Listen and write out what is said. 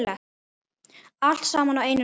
Allt saman á einum stað.